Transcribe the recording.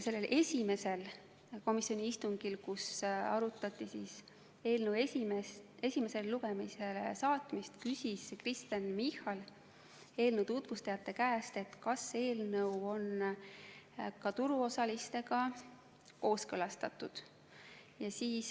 Sellel esimesel komisjoni istungil, kus arutati eelnõu esimesele lugemisele saatmist, küsis Kristen Michal eelnõu tutvustajate käest, kas see eelnõu on ka turuosalistega kooskõlastatud.